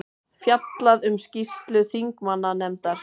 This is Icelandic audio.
Fjallað um skýrslu þingmannanefndar